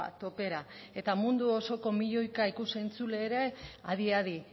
topera eta mundu osoko milioika ikus entzule ere adi adi